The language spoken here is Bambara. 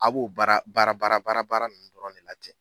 A b'o baara baara baara baara baara ninnu dɔrɔn ne la ten.